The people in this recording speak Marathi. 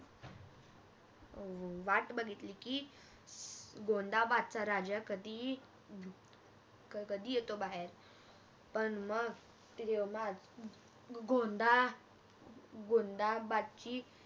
वाट बघितली की आह गोंदाबादचा राजा कधी अह येतो बाहेर पण मग तेवढ्यात गोंदाबादची